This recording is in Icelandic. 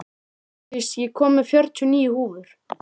Hrafndís, ég kom með fjörutíu og níu húfur!